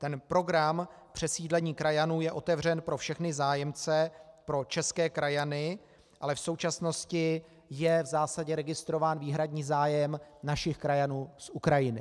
Ten program přesídlení krajanů je otevřen pro všechny zájemce, pro české krajany, ale v současnosti je v zásadě registrován výhradní zájem našich krajanů z Ukrajiny.